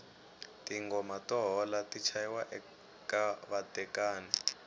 tingoma to hola ti chayiwa eka vatekani